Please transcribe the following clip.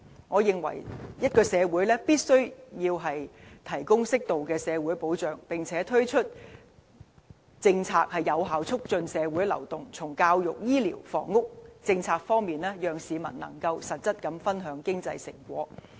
我認為一個社會必須提供適度的社會保障，並推行有效促進社會流動的政策，從教育、醫療和房屋政策方面，讓市民實質分享經濟成果。